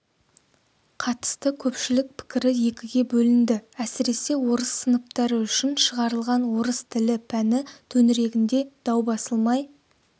қатысты көпшілік пікірі екіге бөлінді әсіресе орыс сыныптары үшін шығарылған орыс тілі пәні төңірегінде даубасылмай